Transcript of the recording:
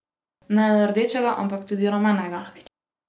Ne le rdečega, ampak tudi rumenega!